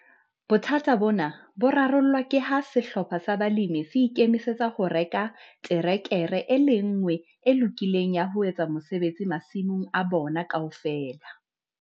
Bothata bona bo rarollwa ke ha sehlopha sa balemi se ikemisetsa ho reka terekere e le nngwe e lokileng ya ho etsa mosebetsi masimong a bona kaofela.